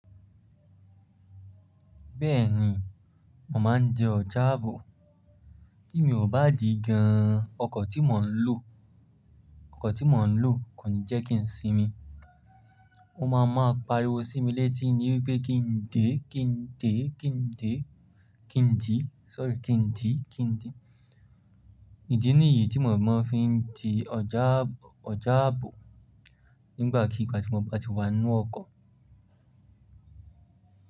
Bẹ́ẹ̀ni, mo ma ń jẹ ọjà àbò. Ti mi ò bá dì gan, ọkọ̀ tí mò ń lò, ọkọ̀ tí mò ń lò kò ní jẹ́ kí n sinmi. Ó máa máa pariwo sí mi létí níwípé kí n dè, kí n dè, kí n dè, kí n dì, sorry kí n dì, kí n dì. Ìdí nìyí tí mo máa ń fi di ọjà ọjà àbò nígbàkigbà tí mo bá ti wá ń wọ ọkọ̀.